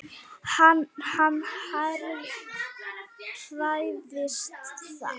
Hann hræðist það.